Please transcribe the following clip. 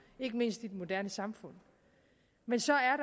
ikke mindst i et moderne samfund men så er